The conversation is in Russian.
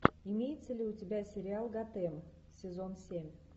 имеется ли у тебя сериал готэм сезон семь